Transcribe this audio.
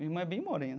Minha irmã é bem morena.